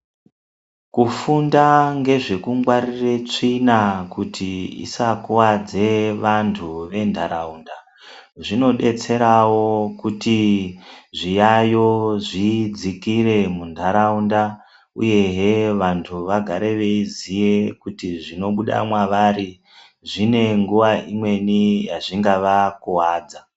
Kufunda ngezvekungwarire tsvina kuti dzisakuvadze vantu ventaraunda. Zvinobetseravo kuti zviyayo zvidzikire muntaraunda, uyehe vantu vagare veiziye kuti zvinobuda mwavari zvine nguva imweni yazvingavakuvadza.